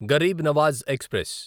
Garib Nawaz express